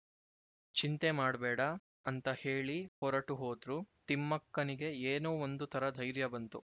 ಚಿಂತೆ ಮಾಡ್ಬೇಡ ಅಂತ ಹೇಳಿ ಹೊರಟು ಹೋದ್ರು ತಿಮ್ಮಕ್ಕನಿಗೆ ಏನೋ ಒಂದು ಥರ ಧೈರ್ಯ ಬಂತು